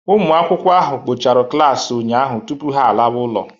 Ụmụ akwụkwọ ahụ kpọchara klaasị ụnyahụ tupu ha alawa ụlọ